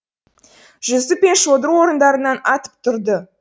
жүсіп пен шодыр орындарынан атып тұрды